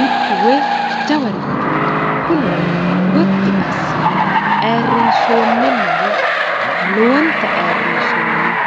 mittu wee jawarichooti kunino gotti assine ayirrinsoonninnawe lowonta ayirrinsoonniho